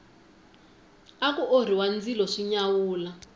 aku orhiwa ndzilo swi nyawula